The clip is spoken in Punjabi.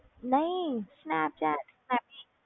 ਨਹੀਂ ਸਨੈਪਚੈਟ